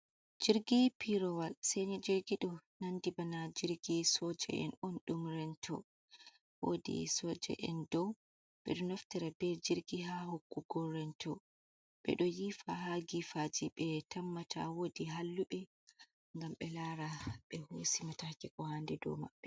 Jirgi piirowal seini jirgi ɗo, ɗonandi bana jirgi sooja'en on ɗum rento, woodi sooja'en dow ɓe ɗo do naftora bee jirgi haa nokkuure rento, ɓe do yiifa haa giifaaji ɓe tammata woodi halluɓe ngam ɓe laara ɓe hoosi mataake koo haandi dow maɓɓe.